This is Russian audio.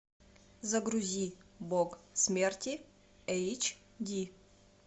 загрузи бог смерти эйч ди